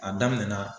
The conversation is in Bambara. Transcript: A daminɛ na